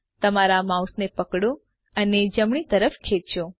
તમારા માઉસને પકડો અને જમણી તરફ ખેચો